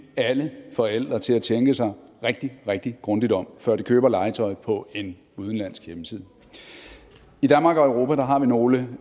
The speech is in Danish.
alle forældre til at tænke sig rigtig rigtig grundigt om før de køber legetøj på en udenlandsk hjemmeside i danmark og europa har vi nogle